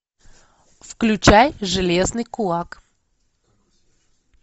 включай железный кулак